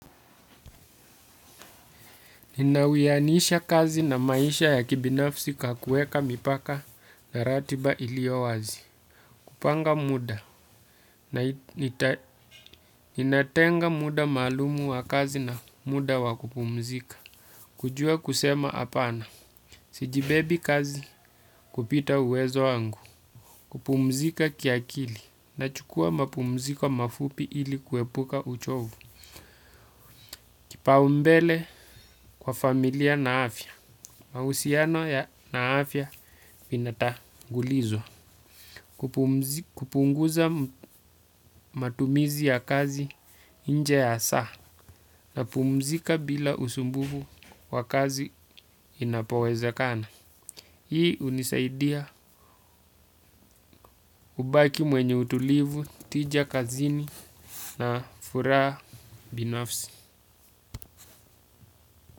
Ninawiyanisha kazi na maisha ya kibinafsi kwa kuweka mipaka na ratiba iliyo wazi kupanga muda, ninatenga muda maalumu wa kazi na muda wa kupumzika kujua kusema hapana, sijibebeshi kazi kupita uwezo wangu kupumzika kiakili. Nachukua mapumziko mafupi ili kuepuka uchovu. Kipaumbele kwa familia na afya mahusiano ya na afya vina tangulizwa. Kupunguza matumizi ya kazi nje ya saa, napumzika bila usumbufu wa kazi inapowezekana. Hii hunisaidia kubaki mwenye utulivu, tija kazini na furaha binafsi.